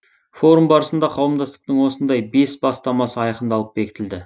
форум барысында қауымдастықтың осындай бес бастамасы айқындалып бекітілді